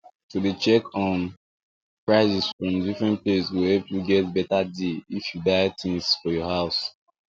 to dey check um prices from different place go help you get better deals if you buy things for your house